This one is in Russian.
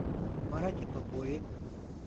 марате попове